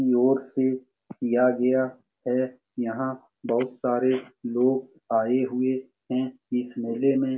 से किया गया है यहां बहुत सारे लोग आए हुए हैं इस मेले में ।